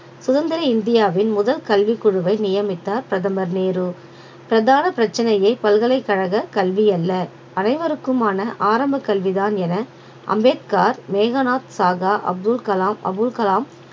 சுதந்திர இந்தியாவின் முதல் கல்விக் குழுவை நியமித்தார் பிரதமர் நேரு பிரதான பிரச்சனையை பல்கலைக்கழக கல்வி அல்ல அனைவருக்குமான ஆரம்பக் கல்விதான் என அம்பேத்கார் மேகநாத் அப்துல் கலாம் அபுல் கலாம்